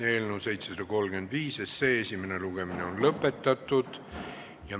Eelnõu 735 esimene lugemine on lõpetatud.